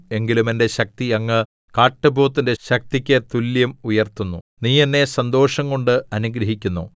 എങ്കിലും എന്റെ ശക്തി അങ്ങ് കാട്ടുപോത്തിന്റെ ശക്തിക്ക് തുല്യം ഉയർത്തുന്നു നീ എന്നെ സന്തോഷംകൊണ്ട് അനുഗ്രഹിക്കുന്നു